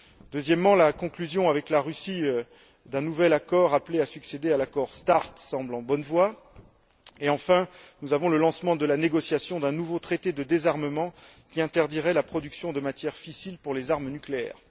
Deuxièmement, la conclusion avec la Russie d'un nouvel accord appelé à succéder à l'accord START semble en bonne voie et, enfin, nous avons le lancement de la négociation d'un nouveau traité de désarmement qui interdirait la production de matières fissiles pour les armes nucléaires.